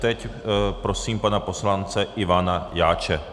Teď prosím pana poslance Ivana Jáče.